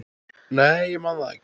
Nei, ég man það ekki.